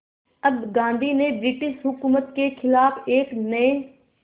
अब गांधी ने ब्रिटिश हुकूमत के ख़िलाफ़ एक नये